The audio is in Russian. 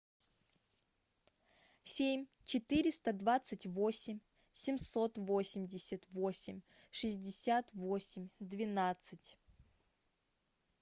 семь четыреста двадцать восемь семьсот восемьдесят восемь шестьдесят восемь двенадцать